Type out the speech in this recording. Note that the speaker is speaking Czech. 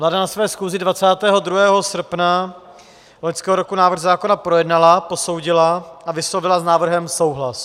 Vláda na své schůzi 22. srpna loňského roku návrh zákona projednala, posoudila a vyslovila s návrhem souhlas.